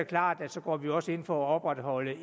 klart at så går vi også ind for at opretholde